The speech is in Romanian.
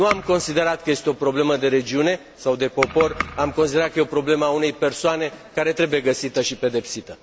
Nu am considerat că este o problemă de regiune sau de popor, am considerat că este o problemă a unei persoane care trebuie găsită și pedepsită.